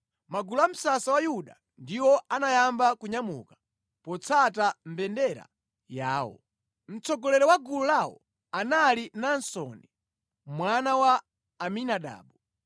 Magulu a msasa wa Yuda ndiwo anayamba kunyamuka potsata mbendera yawo. Mtsogoleri wa gulu lawo anali Naasoni mwana wa Aminadabu.